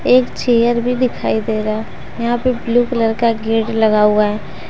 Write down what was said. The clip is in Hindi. एक चेयर भी दिखाई दे रहा यहां पे ब्लू कलर का गेट लगा हुआ है।